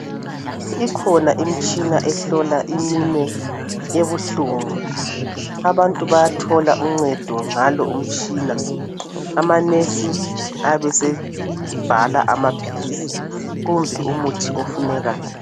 Ikhona imitshina ehlola iminwe ebuhlungu, abantu bayathola uncedo ngalo umtshina. Amanesi abesebhala amaphilisi kumbe umuthi ofunekayo.